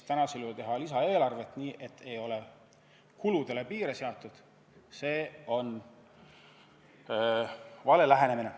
Tänasel juhul teha lisaeelarvet nii, et ei ole kuludele piire seatud – see on vale lähenemine.